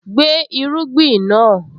Gbé irúgbìn náà!